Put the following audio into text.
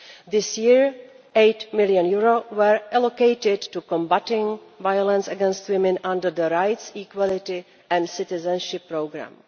This year, EUR 8 million was allocated to combating violence against women under the Rights, Equality and Citizenship Programme.